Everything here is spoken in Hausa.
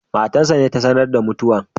matar sa ce ta sanar da mutuwan.